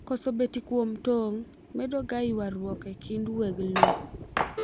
koso betie kuom tong' mendo ga ywaruok e kind weg lowo